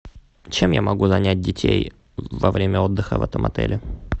чем я могу занять детей во время отдыха в этом отеле